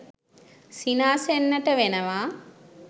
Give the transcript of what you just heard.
සිනාසෙන්නට වෙනවා.